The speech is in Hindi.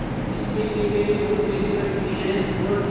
इसके लिए मैंने बहुत पैसे खर्च किए हैं और